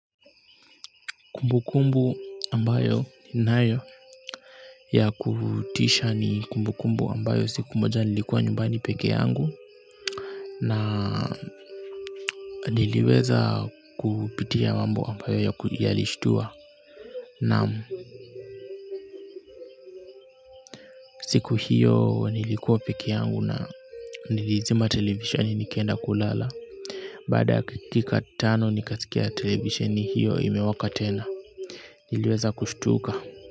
Kumbu kumbu ambayo ninayo ya kutisha ni kumbu kumbu ambayo siku moja nilikuwa nyumbani peke yangu na niliweza kupitia mambo ambayo yalishtua naam siku hiyo nilikuwa peke yangu na nilizima televisheni nikaenda kulala. Baada ya dakika tano nikasikia televisheni hiyo imewaka tena niliweza kushtuka.